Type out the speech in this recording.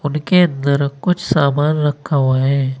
उनके अंदर कुछ सामान रखा हुआ हैं।